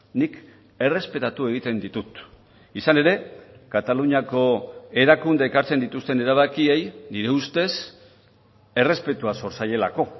nik errespetatu egiten ditut izan ere kataluniako erakundeek hartzen dituzten erabakiei nire ustez errespetua zor zaielako